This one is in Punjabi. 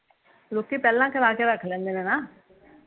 ਲੋਕੀਂ ਪਹਿਲਾਂ ਕਰਾ ਕੇ ਰੱਖ ਲੈਂਦੇ ਨਾ